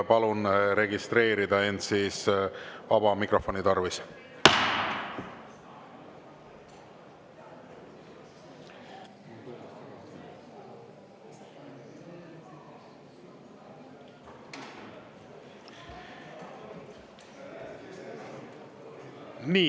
Palun registreerida end vaba mikrofoni tarvis.